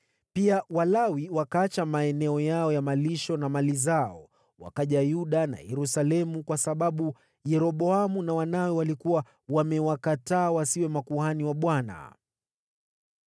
Pia Walawi wakaacha maeneo yao ya malisho na mali zao, wakaja Yuda na Yerusalemu kwa sababu Yeroboamu na wanawe walikuwa wamewakataa wasiwe makuhani wa Bwana .